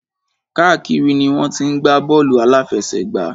Káàkiri ni wọ́n ti ń gbá bọ́ọ̀lù àláfẹsẹ̀gbá.